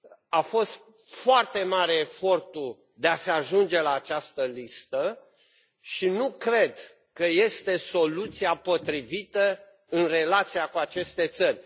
A fost foarte mare efortul de a se ajunge la această listă și nu cred că este soluția potrivită în relația cu aceste țări.